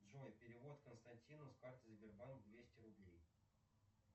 джой перевод константину с карты сбербанк двести рублей